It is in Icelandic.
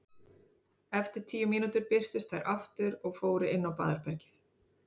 Eftir tíu mínútur birtust þær aftur og fóru inn á baðherbergið.